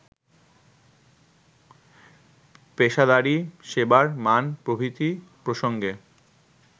পেশাদারি, সেবার মান প্রভৃতি প্রসঙ্গে